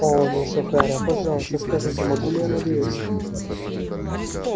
оо мисс охара пожалуйста скажите могу ли я надеяться